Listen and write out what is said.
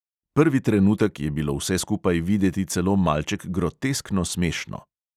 Prvi trenutek je bilo vse skupaj videti celo malček groteskno smešno.